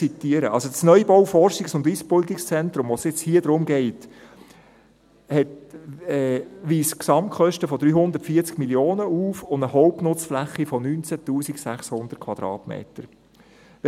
Der Neubau des Forschungs- und Ausbildungszentrums, um den es hier geht, weist Gesamtkosten von 340 Mio. Franken und eine Hauptnutzfläche (HNF) von 19 600 Quadratmetern auf.